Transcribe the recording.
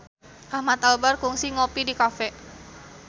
Ahmad Albar kungsi ngopi di cafe